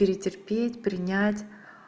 перетерпеть принять